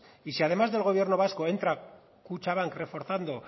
y si además del gobierno vasco entra kutxabank reforzando